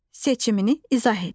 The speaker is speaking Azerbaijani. Seçimini izah et.